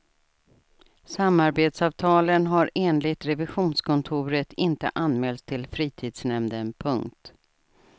Samarbetsavtalen har enligt revisionskontoret inte anmälts till fritidsnämnden. punkt